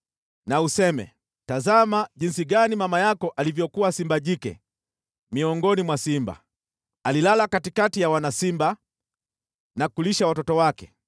na useme: “ ‘Tazama jinsi gani mama yako alivyokuwa simba jike miongoni mwa simba! Alilala katikati ya wana simba na kulisha watoto wake.